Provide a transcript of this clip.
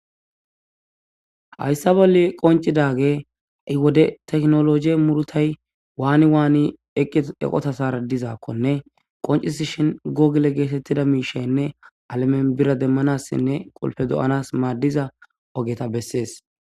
hayssa bolli qoncidaage ha'i wode tekinoloje murutay waani waani eqqi eqotathaara dizaakkone qoncisi shin google geetettida miishaynne alamen bira demmanassinne qulfe do'anas maaddiza ogeta bessees.